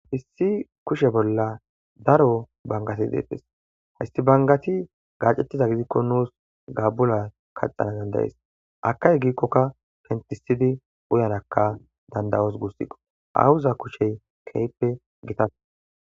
issi kushe bolla daro bangati deettes hissi bangati gaacettiza gizikko nuus gaabula kaxana dandayees akay giikkoka pentisidi uyanakka dandayos gussiqo awuza kushey keype gita